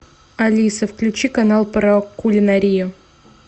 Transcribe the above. алиса включи канал про кулинарию